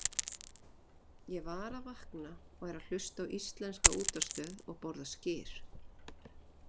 Ég var að vakna og er að hlusta á íslenska útvarpsstöð og borða skyr.